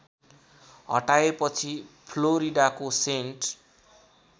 हटाएपछि फ्लोरिडाको सेन्ट